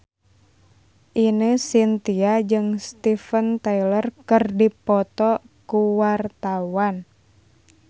Ine Shintya jeung Steven Tyler keur dipoto ku wartawan